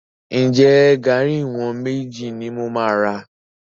Ǹjẹ́ garri ìwọ̀n méjì ni mo máa rà?